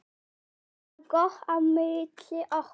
Það var gott á milli okkar.